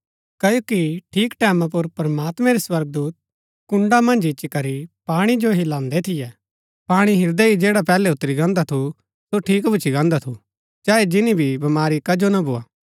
क्ओकि ठीक टैमां पुर प्रमात्मैं रै स्वर्गदूत कुण्ड़ा मन्ज इच्ची करी पाणी जो हिलांदै थियै पाणी हिलदै ही जैडा पैहलै उतरी गान्दा थू सो ठीक भूच्ची गान्दा थू चाहे जिनी भी बमारी कजो ना भोआ